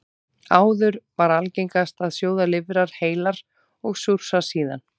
Áður var algengast að sjóða lifrar heilar og súrsa síðan.